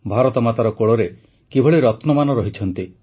ଭାରତମାତାର କୋଳରେ କିଭଳି ରତ୍ନମାନ ରହିଛନ୍ତି